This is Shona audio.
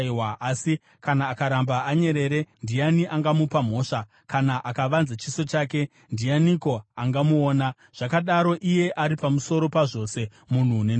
Asi kana akaramba anyerere ndiani angamupa mhosva? Kana akavanza chiso chake, ndianiko angamuona? Zvakadaro iye ari pamusoro pazvose, munhu nendudzi,